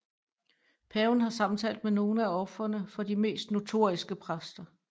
Paven har samtalt med nogle af ofrene for de mest notoriske præster